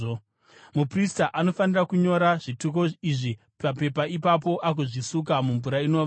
“ ‘Muprista anofanira kunyora zvituko izvi papepa ipapo agozvisuka mumvura inovava.